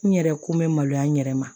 N yɛrɛ ko bɛ maloya n yɛrɛ ma